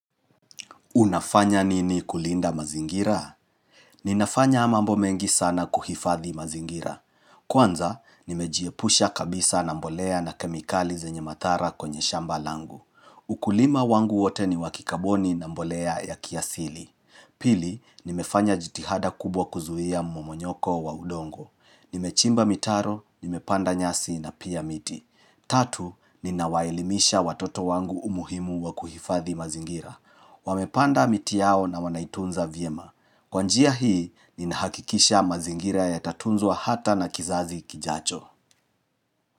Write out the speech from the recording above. Unafanya nini kulinda mazingira? Ninafanya mambo mengi sana kuhifadhi mazingira. Kwanza, nimejiepusha kabisa na mbolea na kemikali zenye madhara kwenye shamba langu. Ukulima wangu wote ni wakikaboni na mbolea ya kiasili. Pili, nimefanya jitihada kubwa kuzuia momonyoko wa udongo. Nimechimba mitaro, nimepanda nyasi na pia miti. Tatu, ninawaelimisha watoto wangu umuhimu wa kuhifadhi mazingira. Wamepanda miti yao na wanaitunza vyema Kwa njia hii, ni nahakikisha mazingira ya tatunzwa hata na kizazi kijacho.